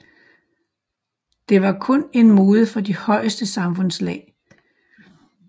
Det var kun en mode for de højeste samfundslag